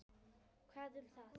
Hvað um það.